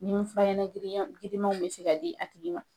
Ni fura ɲanan giranyan girimanw bɛ se ka di a tigi ma.